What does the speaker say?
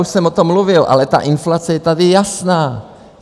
Už jsem o tom mluvil, ale ta inflace je tady jasná.